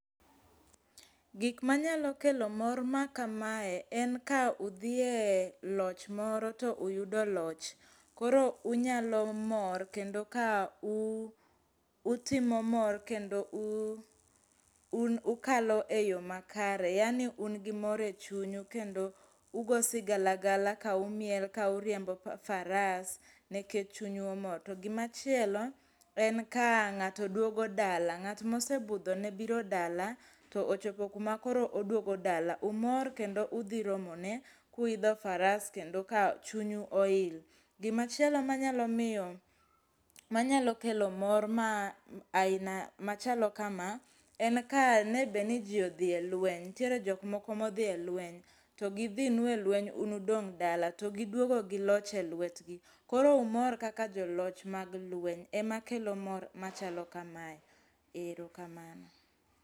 Gik manyalo kelo mor ma kamae en ka udhie e loch moro to uyudo loch. Koro unyalo mor kendo, ka ah utimo mor, kendo ah un ukalo e yo makare yaani un gi mor e chunyu kendo ugoyo sigalagala kaumiel kauriembo faras, nikech chunyu omor. To gimachielo, en ka ng'ato duogo dala. Ng'at mosebudhone biro dala, to ochopo kuma koro oduogo dala, umor kendo udhiromone, kuidho faras kendo ka chunyu oil. Gimachielo manyalo miyo, manyalo kelo mor ma aina machalo kama, en ka ne be ni ji odhi e lweny. Nitiere jok moko modhi e lweny. To gidhinu e lweny to un udong' dala to giduogo gi loch e lwetgi. Koro umor kaka joloch mag lweny, ema kelo mor machalo kamae. Ero kamano.